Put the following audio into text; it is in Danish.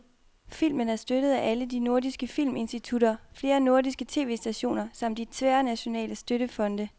Filmen er støttet af alle de nordiske filminstitutter, flere nordiske tv-stationer samt de tværnationale støttefonde.